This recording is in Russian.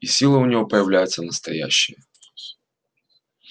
и силы у него появляются настоящие